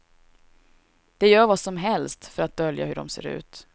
De gör vad som helst för att dölja hur de ser ut.